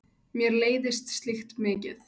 Mér leiðist slíkt mikið.